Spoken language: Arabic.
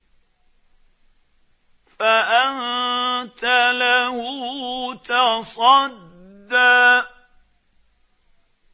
فَأَنتَ لَهُ تَصَدَّىٰ